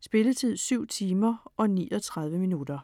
Spilletid: 7 timer, 39 minutter.